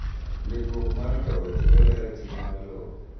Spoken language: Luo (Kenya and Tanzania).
Ndikruok mar lowo chiwo ler e chiro mar lowo.